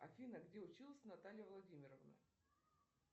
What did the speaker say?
афина где училась наталья владимировна